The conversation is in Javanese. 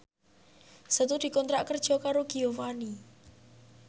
Setu dikontrak kerja karo Giovanni